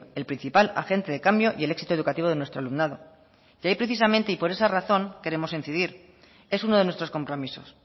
el principal agente de cambio y el éxito educativo de nuestro alumnado y ahí precisamente y por esa razón queremos incidir es uno de nuestros compromisos